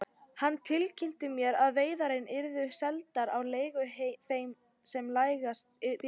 Hann tilkynnti mér að veiðarnar yrðu seldar á leigu þeim sem lægst byði.